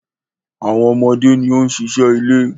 Àwọn ọmọ ni ó ń ṣiṣẹ́ ilé